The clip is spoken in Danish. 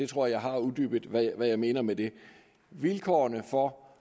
tror jeg har uddybet hvad jeg mener med det vilkårene for